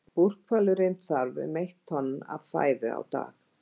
Búrhvalurinn þarf um eitt tonn af fæðu á dag.